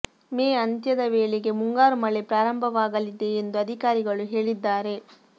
ಮೇ ಅಂತ್ಯದ ವೇಳೆಗೆ ಮುಂಗಾರು ಮಳೆ ಪ್ರಾರಂಭವಾಗಲಿದೆ ಎಂದು ಅಧಿಕಾರಿಗಳು ಹೇಳಿದ್ದಾರೆ